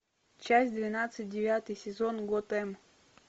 часть двенадцать девятый сезон готэм